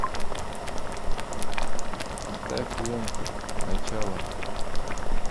поставь ленту начало